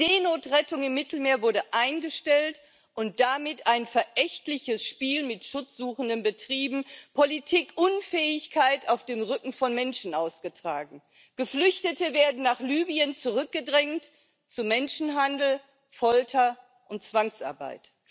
Die Seenotrettung im Mittelmeer wurde eingestellt und damit ein verächtliches Spiel mit Schutzsuchenden betrieben, Politikunfähigkeit auf dem Rücken von Menschen ausgetragen. Geflüchtete werden nach Libyen zurückgedrängt, zu Menschenhandel, Folter und Zwangsarbeit.